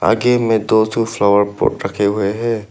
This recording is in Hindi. आगे में दो ठो फ्लावर पॉट रखे हुए हैं।